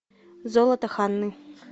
золото ханны